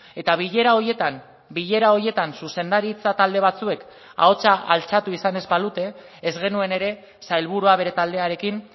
eta bilera horietan bilera horietan zuzendaritza talde batzuek ahotsa altxatu izan ez balute ez genuen ere sailburua bere taldearekin